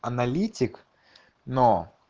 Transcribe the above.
аналитик но